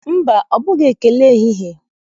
Mba, ọ bụghị ekele ehihie